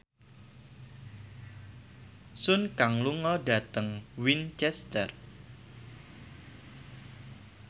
Sun Kang lunga dhateng Winchester